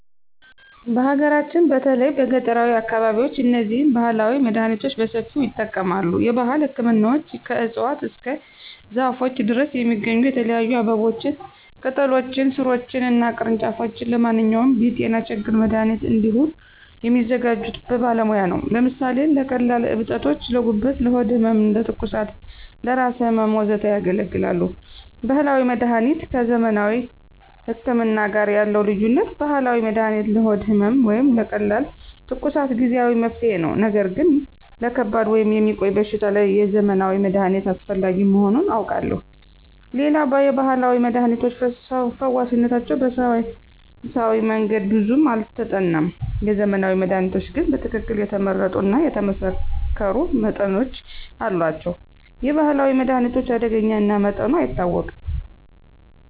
በሀገራችን በተለይም በገጠራዊ አካባቢዎች እነዚህን ባህላዊ መድሃኒቶች በሰፊው ይጠቀማሉ። የባህል ህክምናዎች ከእፅዋት እስከ ዛፎች ድረስ የሚገኙ የተለያዩ አበቦችን፣ ቅጠሎችን፣ ሥሮችን እና ቅርንጫፎች ለማንኛውም የጤና ችግር መድሃኒት እንዲሆኑ የሚያዘጋጁት በባለሙያ ነው። ለምሳሌ ለቀላል እብጠቶች: ለጉበት፣ ለሆድ ህመም፣ ለትኩሳት፣ ለራስ ህመም፣ ወዘተ ያገለግላሉ። ባህላዊ መድሀኒት ከዘመናዊ ህክምና ጋር ያለው ልዩነት፦ ባህላዊ መድሃኒት ለሆድ ህመም ወይም ለቀላል ትኩሳት ጊዜአዊ መፍትሄ ነው። ነገር ግን ለከባድ ወይም የሚቆይ በሽታ የዘመናዊ መድሃኒት አስፈላጊ መሆኑን አውቃለሁ። ሌላው የባህላዊ መድሃኒቶች ፈዋሽነታቸው በሳይንሳዊ መንገድ ብዙም አልተጠናም። የዘመናዊ መድሃኒቶች ግን በትክክል የተመረጡ እና የተመሳከሩ መጠኖች አሏቸው። የባህላዊ መድሃኒት አደገኛ እና መጠኑ አይታወቅም።